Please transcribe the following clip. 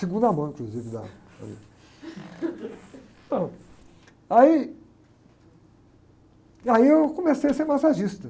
Segunda mão, inclusive, da... Aí... Aí eu comecei a ser massagista.